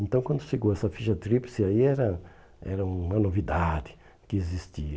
Então, quando chegou essa ficha tríplice, aí era era uma novidade que existia.